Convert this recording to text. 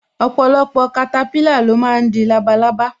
Ọpọlọpọ katapila lo máa ń di labalábá